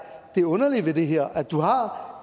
det underlige ved det her er at du har